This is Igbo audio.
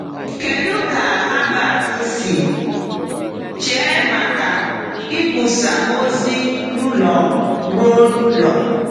Kedu ka Herbert si chee maka ikwusa ozi n’ụlọ ruo n’ụlọ?